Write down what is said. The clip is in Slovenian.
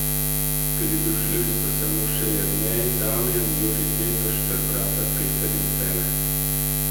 Pridružili so se mu še Jernej Damjan, Jurij Tepeš ter brata Peter in Cene.